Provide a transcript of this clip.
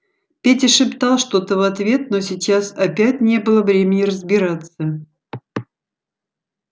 петя шептал что-то в ответ но сейчас опять не было времени разбираться